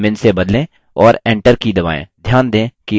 और enter की दबाएँ